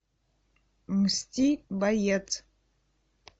мсти боец